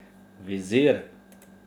Vizir!